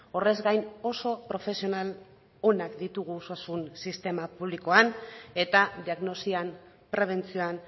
horrez gain oso profesional onak ditugu osasun sistema publikoan eta diagnosian prebentzioan